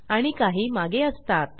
आणि काही मागे असतात